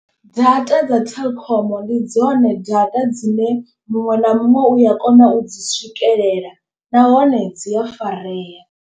Data dza telkom ndi dzone data dzine muṅwe na muṅwe uya kona u dzi swikelela nahone dzi a farea.